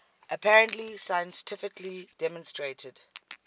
apparently scientifically demonstrated